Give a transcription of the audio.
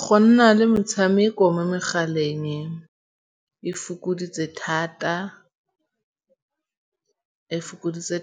Go nna le metshameko mo megaleng e fokoditse